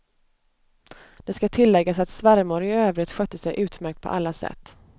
Det ska tilläggas att svärmor i övrigt skötte sig utmärkt på alla sätt.